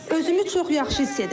Özümü çox yaxşı hiss edirəm.